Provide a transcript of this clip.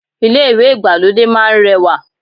Ilé ìwé ìgbàlódé máá ń rẹwà